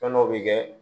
Fɛn dɔ bɛ kɛ